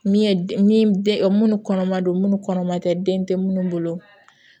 Min ye min den munnu kɔnɔman don munnu kɔnɔman tɛ den tɛ minnu bolo